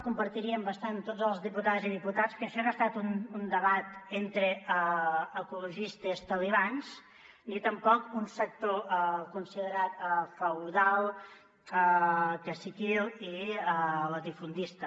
compartirien bastant totes les diputades i diputats que això ha estat un debat entre ecologistes talibans ni tampoc un sector considerat feudal caciquil i latifundista